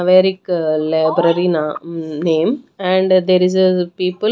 Maverick library na name and there is a people --